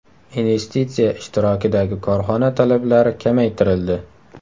Investitsiya ishtirokidagi korxona talablari kamaytirildi.